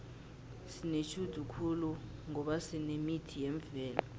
sinetjhudu khulu ngoba sinemithi yemvelo